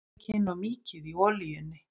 Merjið hvítlaukinn og mýkið í olíunni.